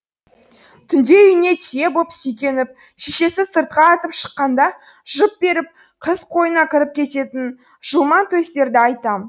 түнде үйіне түйе боп сүйкеніп шешесі сыртқа атып шыққанда жып беріп қыз қойнына кіріп кететін жылмаңтөстерді айтам